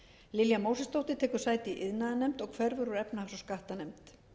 lilja mósesdóttir tekur sæti í iðnaðarnefnd og hverfur úr efnahags og skattanefnd